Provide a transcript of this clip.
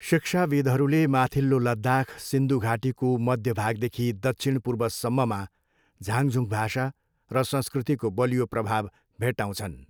शिक्षाविद्हरूले माथिल्लो लद्दाख, सिन्धु घाटीको मध्य भागदेखि दक्षिणपूर्वसम्ममा झाङझुङ भाषा र संस्कृतिको बलियो प्रभाव भेट्टाउँछन्।